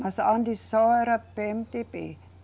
Mas antes só era PêeMeDêBê.